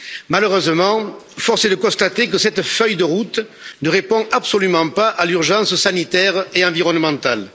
Malheureusement, force est de constater que cette feuille de route ne répond absolument pas à l'urgence sanitaire et environnementale.